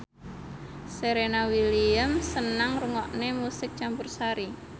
Serena Williams seneng ngrungokne musik campursari